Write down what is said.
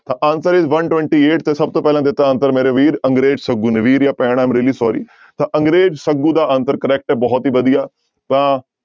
ਤਾਂ answer is one twenty eight ਤਾਂ ਸਭ ਤੋਂ ਪਹਿਲਾਂ ਦਿੱਤਾ answer ਮੇਰੇ ਵੀਰ ਅੰਗਰੇਜ਼ ਸੱਗੂ ਨੇ ਵੀਰ ਜਾਂ ਭੈਣ am really sorry ਤਾਂ ਅੰਗਰੇਜ਼ ਸੱਗੂ ਦਾ answer correct ਹੈ ਬਹੁਤ ਹੀ ਵਧੀਆ ਤਾਂ